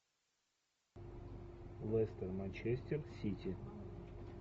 лестер манчестер сити